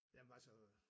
Jamen altså